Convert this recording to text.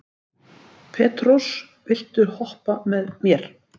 Petrós, viltu hoppa með mér?